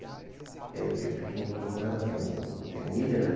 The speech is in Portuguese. E aí eu tenho um pequenininho com ela, tenho o tenho o William, né?